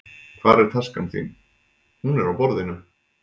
Hvar er taskan þín? Hún er á borðinu.